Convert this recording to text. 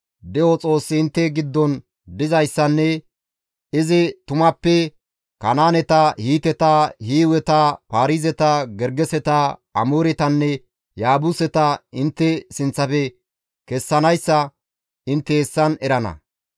De7o Xoossi intte giddon dizayssanne izi tumappe Kanaaneta, Hiiteta, Hiiweta, Paarizeta, Gergeseta, Amooretanne Yaabuseta intte sinththafe kessanayssa intte hessan erana.